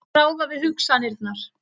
Verð að ráða við hugsanirnar.